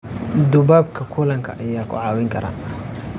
Duubabka kulanka ayaa ku caawin kara.